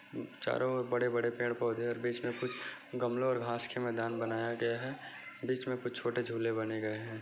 चारों ओर बड़े बड़े पेड़ पौधे और बीच में कुछ गमलों और घांस के मैदान बनाया गया है बीच में कुछ छोटे झूले बने गए हैं।